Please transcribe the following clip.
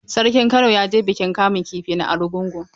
Sarkin Kano ya je bikin kamun kifi na Argungu?